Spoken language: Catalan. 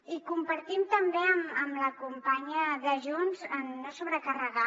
i compartim també amb la companya de junts no sobrecarregar